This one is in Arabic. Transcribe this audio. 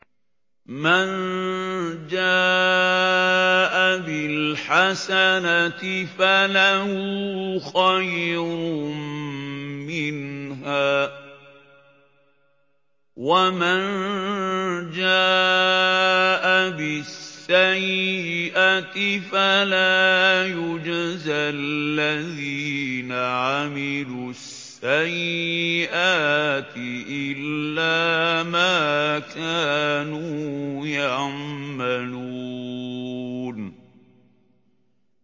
مَن جَاءَ بِالْحَسَنَةِ فَلَهُ خَيْرٌ مِّنْهَا ۖ وَمَن جَاءَ بِالسَّيِّئَةِ فَلَا يُجْزَى الَّذِينَ عَمِلُوا السَّيِّئَاتِ إِلَّا مَا كَانُوا يَعْمَلُونَ